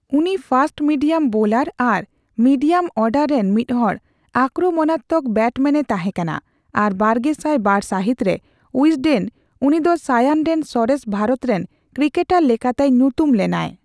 ᱩᱱᱤ fast medium bowler ᱟᱨ ᱢᱤᱰᱤᱭᱟᱢᱼᱚᱨᱰᱟᱨᱮᱱ ᱢᱤᱫᱦᱚᱲ ᱟᱠᱨᱢᱚᱱᱟᱛᱢᱚᱠ ᱵᱮᱴᱢᱮᱱᱮ ᱛᱟᱦᱮᱸᱠᱟᱱᱟ, ᱟᱨ ᱵᱟᱨᱜᱮᱥᱟᱭ ᱵᱟᱨ ᱥᱟᱦᱤᱛᱨᱮ ᱩᱭᱡᱰᱮᱱ ᱩᱱᱤ ᱫᱚ ᱥᱟᱭᱟᱱ ᱨᱮᱱ ᱥᱚᱨᱮᱥ ᱵᱷᱟᱨᱚᱛᱨᱮᱱ ᱠᱨᱤᱠᱮᱴᱟᱨ ᱞᱮᱠᱟᱛᱮᱭ ᱧᱩᱛᱩᱢ ᱞᱮᱱᱟᱭ᱾